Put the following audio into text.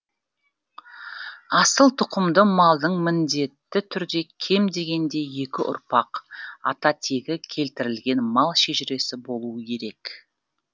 асыл тұқымды малдың міндетті түрде кем дегенде екі ұрпақ ата тегі келтірілген мал шежіресі болуы керек